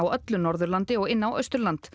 öllu Norðurlandi og inn á Austurland